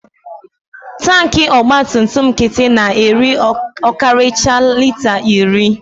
Tanki ọgbatumtum nkịtị na-eri ọkarịchaa lita iri.